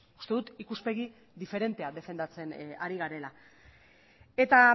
uste dut ikuspegi diferenteak defendatzen ari garela eta